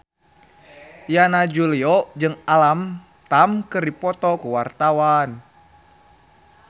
Yana Julio jeung Alam Tam keur dipoto ku wartawan